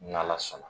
N'ala sɔnna